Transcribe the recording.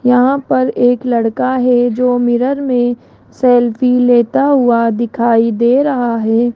यहां पर एक लड़का है जो मिरर में सेल्फी लेता हुआ दिखाई दे रहा है।